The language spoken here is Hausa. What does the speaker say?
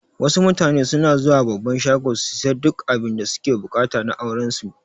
Wasu mutane suna zuwa babban shago su siya duk abinda suke buƙata na auran su